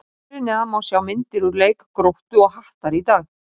Hér fyrir neðan má sjá myndir úr leik Gróttu og Hattar í dag.